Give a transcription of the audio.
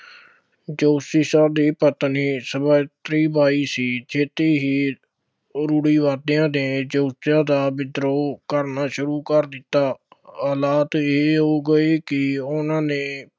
ਜੋਤੀਬਾ ਦੀ ਪਤਨੀ ਸਵਿੱਤਰੀ ਬਾਈ ਸੀ, ਛੇਤੀ ਹੀ ਰੂੜ੍ਹੀਵਾਦੀਆਂ ਨੇ ਜੋਤੀਬਾ ਦਾ ਵਿਦਰੋਹ ਕਰਨਾ ਸ਼ੁਰੂ ਕਰ ਦਿੱਤਾ। ਹਾਲਾਤ ਇਹ ਹੋ ਗਏ ਕਿ ਉਹਨਾ ਨੇ